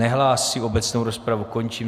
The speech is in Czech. Nehlásí, obecnou rozpravu končím.